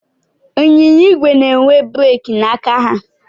Ịnyịnya igwe na-enwe breeki n'aka ha.